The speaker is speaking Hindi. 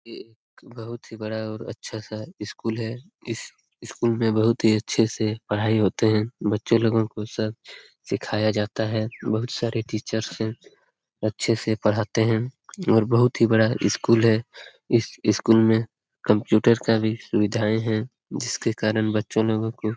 एक बहुत ही बड़ा और अच्छा सा स्कूल है। इस स्कूल में बहुत ही अच्छे से पढाई होते है। बच्चे लोगो को सब सिखाया जाता है। बहुत सारे टीचर्स है अच्छे से पढ़ाते है और बहुत ही बड़ा स्कूल है। इस स्कूल में कंप्यूटर का भी सुविधाएँ है जिसके कारण बच्चे लोगो को --